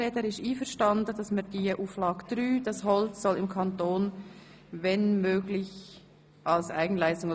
– Er ist einverstanden, dass wir Auflage 3 mit «wenn möglich» ergänzen.